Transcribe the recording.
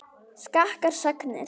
Skakkar sagnir.